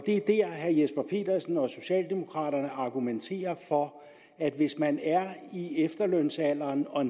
er dér herre jesper petersen og socialdemokraterne argumenterer for at hvis man er i efterlønsalderen og